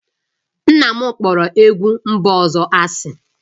Nna m kpọrọ egwu mba ọzọ asị